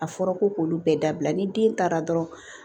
A fɔra ko k'olu bɛɛ dabila ni den taara dɔrɔn